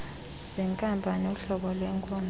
zenkampani uhlobo lwenkonzo